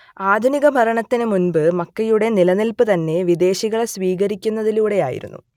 ആധുനിക ഭരണത്തിനു മുമ്പ് മക്കയുടെ നിലനിൽപ്പ് തന്നെ വിദേശികളെ സ്വീകരിക്കുന്നതിലൂടെയായിരുന്നു